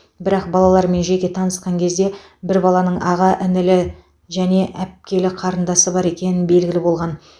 бірақ балалармен жеке танысқан кезде бір баланың аға інілі және апкелі қарындасы бар екені белгілі болған